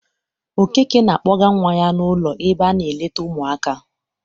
Okeke na-akpọga nwa ya n'ụlọ ebe a na-eleta ụmụaka.